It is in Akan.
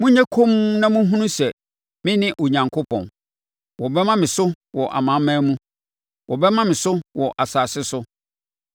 Monyɛ komm na monhunu sɛ me ne Onyankopɔn; wɔbɛma me so wɔ amanaman no mu, wɔbɛma me so wɔ asase so.